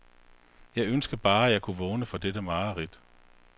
Jeg ønskede bare, at jeg kunne vågne fra dette mareridt.